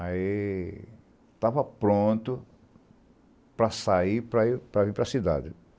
Aí, estava pronto para sair, para ir para ir para cidade.